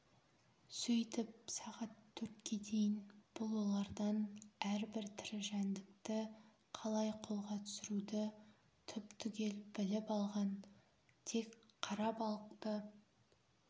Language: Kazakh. сөйтіп сағат төртке дейін бұл олардан әрбір тірі жәндікті қалай қолға түсіруді түп-түгел біліп алған тек қара балықты